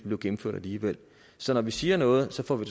blev gennemført alligevel så når vi siger noget får vi